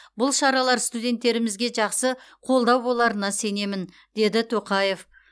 бұл шаралар студенттерімізге жақсы қолдау боларына сенемін деді тоқаев